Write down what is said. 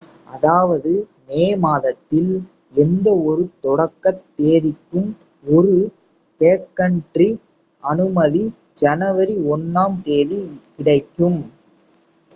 அதாவது மே மாதத்தில் எந்த ஒரு தொடக்கத் தேதிக்கும் ஒரு பேக்கன்ட்ரி அனுமதி ஜனவரி 1 ம் தேதி கிடைக்கும்